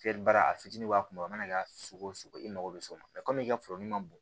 Fiyɛli baara a fitini b'a kunna a mana kɛ sugu o sugu i mago be s'o ma kɔmi i ka foro ma b